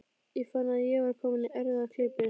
Ég fann að ég var kominn í erfiða klípu.